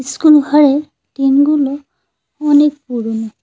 School ঘরের টিমগুলো অনেক পুরনো।